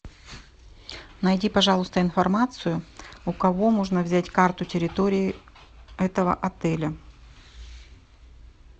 найди пожалуйста информацию у кого можно взять карту территории этого отеля